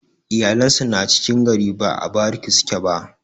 iyalan sa na cikin gari ba a bariki suke ba